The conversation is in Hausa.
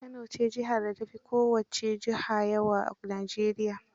Kano ce jihar da ta fi kowace juha yawa a Najeriya.